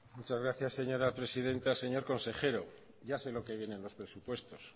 muchas gracias señora presidenta señor consejero ya sé lo que viene en los presupuestos